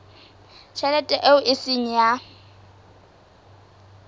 tjhelete eo e seng ya